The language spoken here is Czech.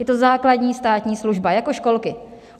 Je to základní státní služba, jako školky.